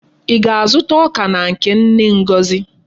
Í ga-azụta ọka na nke nne Ngozi?